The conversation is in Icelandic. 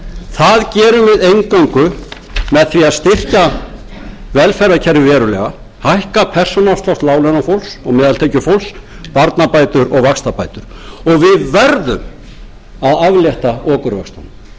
það gerum við eingöngu með því að styrkja velferðarkerfið verulega hækka persónuafslátt láglaunafólks og meðaltekjufólks barnabætur og vaxtabætur og við verðum að aflétta okurvöxtunum